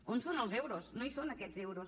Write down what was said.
on són els euros no hi són aquests euros